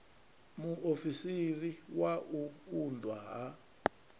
muofisiri wa u unḓwa ha